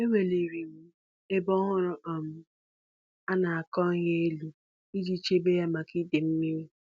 Eweliri m ebe ọhụrụ um a na-akọ ihe elu iji chebe ya maka idei mmiri.